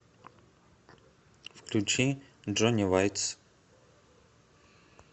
включи джони вайц